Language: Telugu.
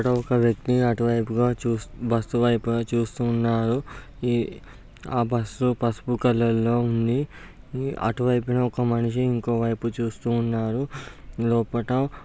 ఓక వ్యక్తి అటు వైపుగా చూస్తు-- బస్సు వైపుగా చూస్తు ఉన్నాడు. ఇ ఆ బస్సు పసుపు కలర్లో ఉంది. అటువైప్ఎనే ఒక మనిషి ఇంకో వైపు చూస్తూ ఉన్నాడు లోపట.